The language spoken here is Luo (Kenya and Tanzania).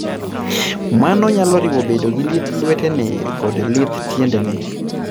Mano nyalo riwo bedo gi lith lwetene koda lith tiendene.